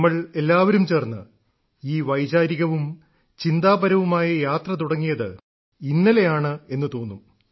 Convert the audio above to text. നമ്മൾ എല്ലാവരും ചേർന്ന് ഈ വൈചാരികവും ചിന്താപരവുമായ യാത്ര തുടങ്ങിയത് ഇന്നലെയാണെന്നു തോന്നും